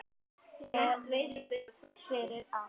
Golf er fyrir alla